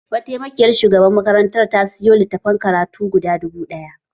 Mataimakiyar shugabar makarantar ta sayo litattafan karatu guda dubu ɗaya